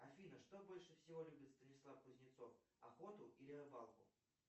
афина что больше всего любит станислав кузнецов охоту или рыбалку